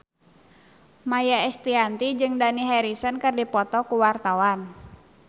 Maia Estianty jeung Dani Harrison keur dipoto ku wartawan